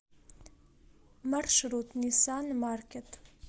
маршрут ниссан маркет